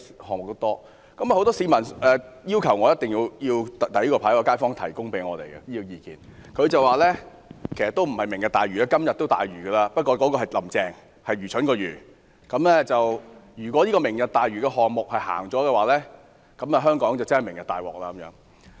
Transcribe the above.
很多市民要求我舉起這個標語牌，它顯示了一名街坊向我們表達的意見：不是"明日大嶼"，而是"今日大愚"——指的是"林鄭"，而且是愚蠢的"愚"；如果"明日大嶼"項目推行，香港便真的"明日大鑊"。